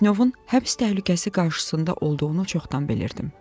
Pletnyovun həbs təhlükəsi qarşısında olduğunu çoxdan bilirdim.